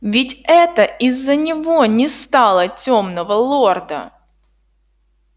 ведь это из-за него не стало тёмного лорда